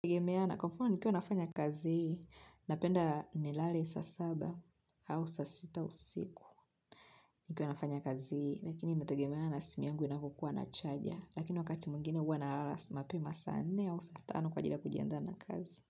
Nikiwa nafanya kazi hii, napenda nilale saa saba au saa sita usiku. Nikiwa nafanya kazi hii, lakini inategemea na simu yangu inavyokua na chaja. Lakini wakati mwingine huwa nalala mapema saa nne au saa tano kwa ajili ya kujiandaa na kazi.